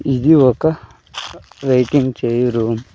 ఇది ఒక వెయిటింగ్ చేయి రూమ్ .